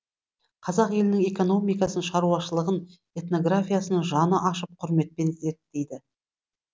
қазақ елінің экономикасын шаруашылығын этнографиясын жаны ашып құрметпен зерттейді